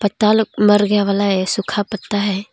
मर गया वाला है सुख पत्ता है।